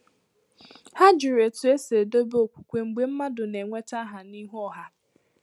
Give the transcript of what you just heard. Ha jụrụ otú e si edobe okwukwe mgbe mmadụ na-enweta aha n’ihu ọha